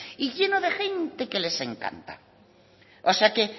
y lleno de gente que les encanta o sea que